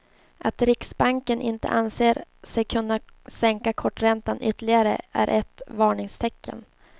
Att riksbanken inte anser sig kunna sänka korträntan ytterligare är ett varningstecken.